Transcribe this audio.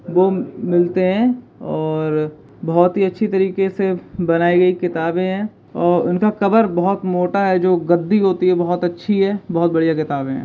वो मिलते है और बहुत ही अच्छी तरीके से बनाई गई किताब है और उनका कवर बहुत मोटा है जो गद्दी होती है बहुत अच्छी है बहुत बढ़िया।